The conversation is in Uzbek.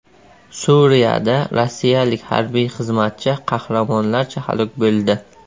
Suriyada rossiyalik harbiy xizmatchi qahramonlarcha halok bo‘ldi.